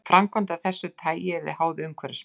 Framkvæmd af þessu tagi yrði háð umhverfismati.